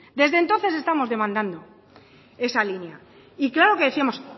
desde entonces estamos demandando esa línea y claro que decíamos